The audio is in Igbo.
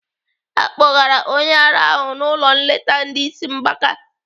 Akpọgara onye ara ahụ n'ụlọ nleta ndị isi mgbaka.